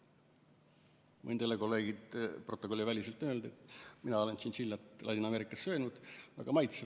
Võin teile, kolleegid, n-ö protokolliväliselt öelda, et mina olen tšintšiljat Ladina-Ameerikas söönud, see on väga maitsev.